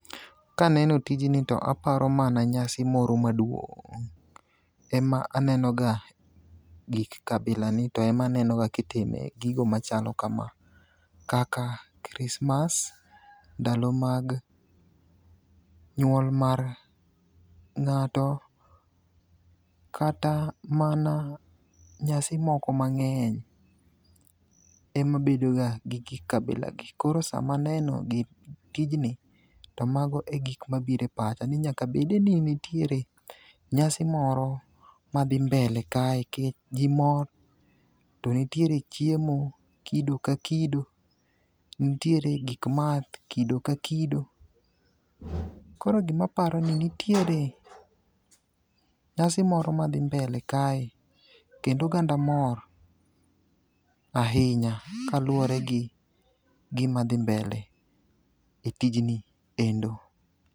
Kaneno tijni to aparo mana nyasi moro maduong' ema anenoga gik kabilani to ema anenoga kitime gigo machalo kama kaka krismas, ndalo mag nyuol mar ng'ato kata mana nyasi moko mang'eny emabedoga gi gik kabilagi koro sama aneno tijni to mago e gik mabiro e pacha ni nyaka bede ni nitiere nyasio moro madhi mbele kae nikech ji mor to nitiere chiemo kido ka kido ntiere gik math kido ka kido koro gimaparo ni ntiere nyasi moro madhi mbele kae kendo oganda mor ahinya kaluwore gi gimadhi mbele e tinjni endo.